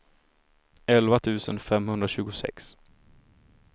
elva tusen femhundratjugosex